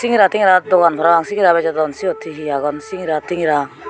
singra tingra dogan parapang singra bejodon syot hihi agon singra tingra.